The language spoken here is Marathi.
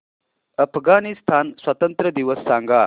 अफगाणिस्तान स्वातंत्र्य दिवस सांगा